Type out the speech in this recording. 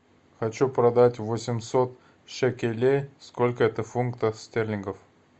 хочу продать восемьсот шекелей сколько это фунтов стерлингов